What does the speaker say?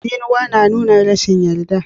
Tsinswa na nuna rashin yarda.